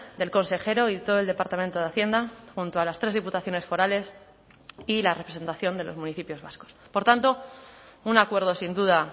del consejero y todo el departamento de hacienda junto a las tres diputaciones forales y la representación de los municipios vascos por tanto un acuerdo sin duda